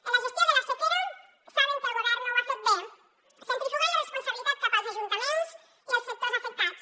en la gestió de la sequera saben que el govern no ho ha fet bé centrifugant la responsabilitat cap als ajuntaments i els sectors afectats